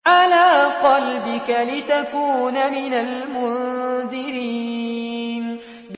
عَلَىٰ قَلْبِكَ لِتَكُونَ مِنَ الْمُنذِرِينَ